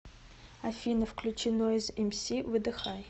афина включи нойз эмси выдыхай